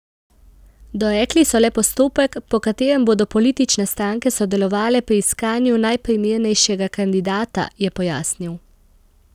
Dorekli so le postopek, po katerem bodo politične stranke sodelovale pri iskanju najprimernejšega kandidata, je pojasnil.